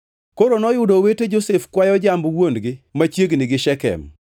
Koro noyudo owete Josef kwayo jamb wuon-gi machiegni gi Shekem,